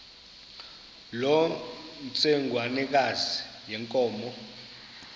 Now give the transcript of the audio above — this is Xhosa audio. loo ntsengwanekazi yenkomo